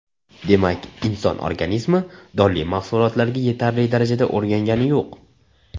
Demak, inson organizmi donli mahsulotlarga yetarli darajada o‘rgangani yo‘q.